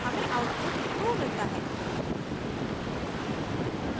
हमें output true मिलता है